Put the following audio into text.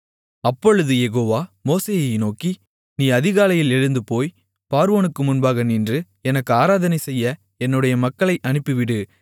அப்பொழுது யெகோவா மோசேயை நோக்கி நீ அதிகாலையில் எழுந்து போய் பார்வோனுக்கு முன்பாக நின்று எனக்கு ஆராதனைசெய்ய என்னுடைய மக்களை அனுப்பிவிடு